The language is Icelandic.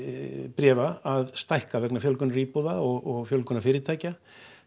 bréfa að stækka vegna fjölgunar íbúða og fjölgunar fyrirtækja